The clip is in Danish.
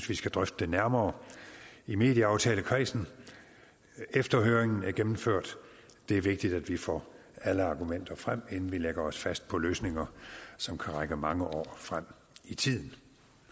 vi skal drøfte det nærmere i medieaftalekredsen efter at høringen er gennemført det er vigtigt at vi får alle argumenter frem inden vi lægger os fast på løsninger som kan række mange år frem i tiden